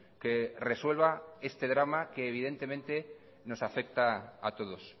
que resuelva este drama que evidentemente nos afecta a todos